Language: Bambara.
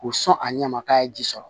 K'u sɔn a ɲɛ ma k'a ye ji sɔrɔ